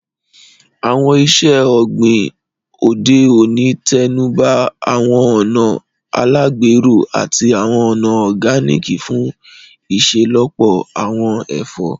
Àwọn iṣẹ́ ọ̀gbìn òde òní tẹnuba àwọn ọ̀nà alágbèro àti àwọn ọ̀nà Organic fún iṣelọpọ àwọn ẹ̀fọ́